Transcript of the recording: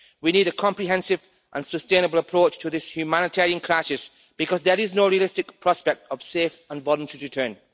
We need a comprehensive and sustainable approach to this humanitarian crisis because there is no realistic prospect of safe and voluntary return.